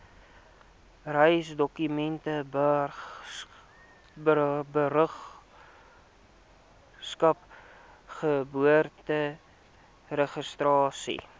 reisdokumente burgerskap geboorteregistrasie